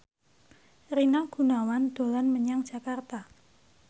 Rina Gunawan dolan menyang Jakarta